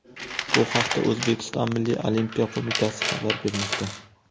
Bu haqda O‘zbekiston Milliy Olimpiya qo‘mitasi xabar bermoqda .